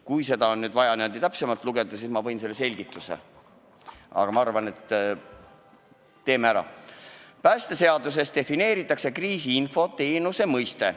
Kui on vaja, siis ma võin selle selgituse ette lugeda: "Päästeseaduses defineeritakse kriisiinfo teenuse mõiste.